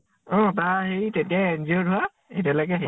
অ তাৰ হেৰি তেতিয়াই injured হোৱা, এতিয়ালৈকে